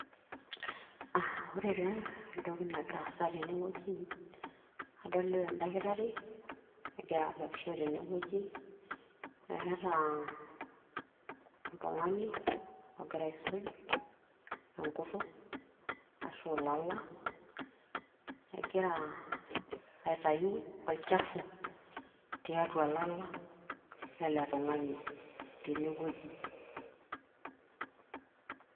aa ore taa entoki nagira aasa tene wueji, adolita oldakitari, egira abakisho tene wueji. eeta oltungani ogira aisuj, enkutuk, ashu ilala. egira aitayu olchafu tiatua ilala lele tung'ani tene wueji.